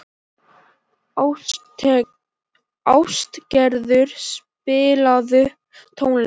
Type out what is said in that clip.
Ástgerður, spilaðu tónlist.